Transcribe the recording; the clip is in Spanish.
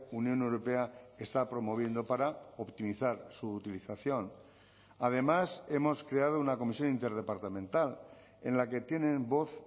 unión europea está promoviendo para optimizar su utilización además hemos creado una comisión interdepartamental en la que tienen voz